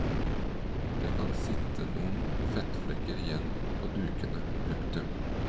Det kan sitte noen fettflekker igjen på dukene. punktum